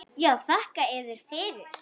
Já, þakka yður fyrir.